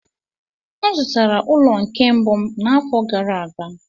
M zụtara ụlọ nke mbụ m n'afọ gara aga.